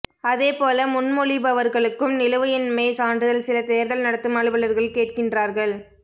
அதே போல முன்மொழிபவர்களுக்கும் நிலுவையின்மை சான்றிதழ் சில தேர்தல் நடத்தும் அலுவலர்கள் கேட்கின்றார்கள்